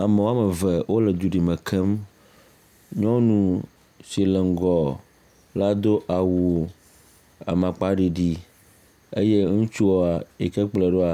Amewo eve wole dzoɖime kem. Nyɔnu si le ŋgɔ la do awu amakpaɖiɖi eye ŋutsu yi ke kplɔ̃e ɖoa